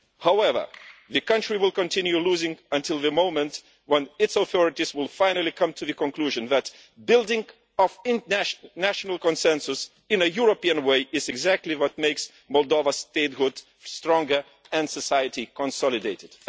However, the country will continue losing until the moment when its authorities finally come to the conclusion that building a national consensus in a European way is exactly what makes Moldova's statehood stronger and consolidates